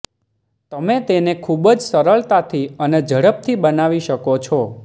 તમે તેને ખૂબ જ સરળતાથી અને ઝડપથી બનાવી શકો છો